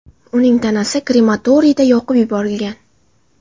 Uning tanasi krematoriyda yoqib yuborilgan.